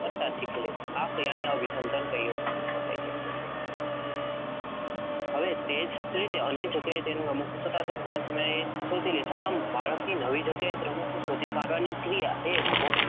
કરતાં શીખી લે છે. આ ક્રિયાને અભિસંધાન કહી શકાય. હવે તમે કોઈ અન્ય જગ્યાયે તેનું રમકડું સંતાડો છો તો થોડા પ્રયત્નોને અંતે બાળક નવી જગ્યાએથી પણ રમકડું શોધી કાઢે છે. આમ, બાળકની નવી જગ્યાએથી રમકડું શોધી કાઢવાની ક્રિયાએ